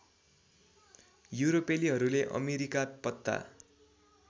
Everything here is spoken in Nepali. युरोपेलीहरूले अमेरिका पत्ता